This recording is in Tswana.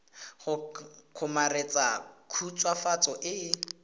go kgomaretsa khutswafatso e e